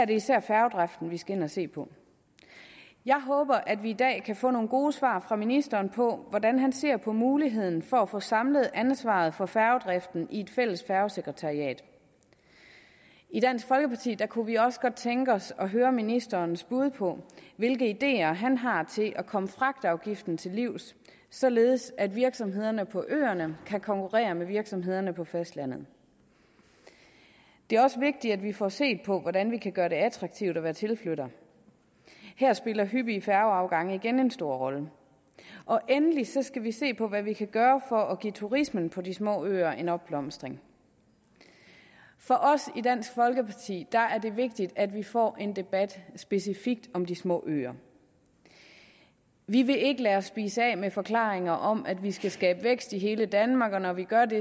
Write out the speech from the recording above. det især færgedriften vi skal ind og se på jeg håber at vi i dag kan få nogle gode svar fra ministeren på hvordan han ser på muligheden for at få samlet ansvaret for færgedriften i et fælles færgesekretariat i dansk folkeparti kunne vi også godt tænke os at høre ministerens bud på hvilke ideer han har til at komme fragtafgiften til livs således at virksomhederne på øerne kan konkurrere med virksomhederne på fastlandet det er også vigtigt at vi får set på hvordan vi kan gøre det attraktivt at være tilflytter her spiller hyppige færgeafgange igen en stor rolle og endelig skal vi se på hvad vi kan gøre for at give turismen på de små øer en opblomstring for os i dansk folkeparti er er det vigtigt at vi får en debat specifikt om de små øer vi vil ikke lade os spise af med forklaringer om at vi skal skabe vækst i hele danmark og når vi gør det